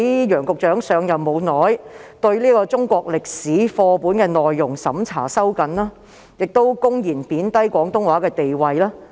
楊局長上任後不久便收緊中國歷史課本的內容審查，又公然貶低廣東話的地位。